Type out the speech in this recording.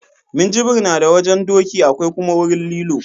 Minjibir na da wajen doki akwai kuma wurin lilo